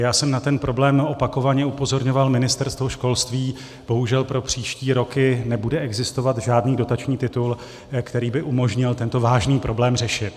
Já jsem na ten problém opakovaně upozorňoval Ministerstvo školství, bohužel pro příští roky nebude existovat žádný dotační titul, který by umožnil tento vážný problém řešit.